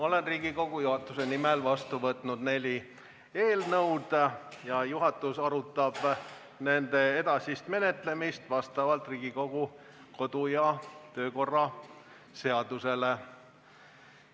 Olen Riigikogu juhatuse nimel võtnud vastu neli eelnõu ja juhatus arutab nende edasist menetlemist vastavalt Riigikogu kodu- ja töökorra seadusele.